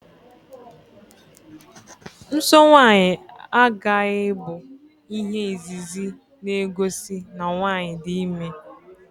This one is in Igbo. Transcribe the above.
Nsọ nwaanyị aghaghị bụ ihe izizi na-egosi na nwaanyi dị ime